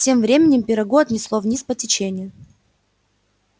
тем временем пирогу отнесло вниз по течению